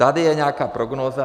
Tady je nějaká prognóza.